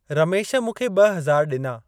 रमेश मूंखे ॿ हज़ार ॾिना।